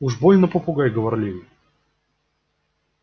уж больно попугай говорливый